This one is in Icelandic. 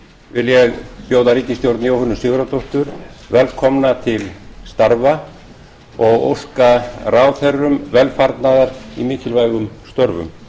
vil ég bjóða ríkisstjórn jóhönnu sigurðardóttur velkomna til starfa og óska ráðherrum velfarnaðar í mikilvægum störfum